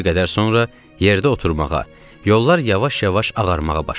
Bir qədər sonra yerdə oturmağa, yollar yavaş-yavaş ağarmağa başladı.